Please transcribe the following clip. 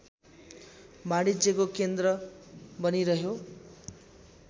वाणिज्यको केन्द्र बनिरह्यो